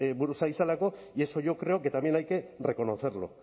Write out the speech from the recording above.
buruz ari zelako y eso yo creo que también hay que reconocerlo